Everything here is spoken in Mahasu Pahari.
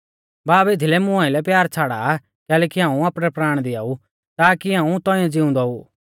बाब एथीलै मुं आइलै प्यार छ़ाड़ा आ कैलैकि हाऊं आपणै प्राण दिआऊ ताकी हाऊं तौंइऐ ज़िउंदौ ऊ